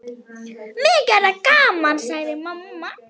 Mikið er það gaman, sagði mamma.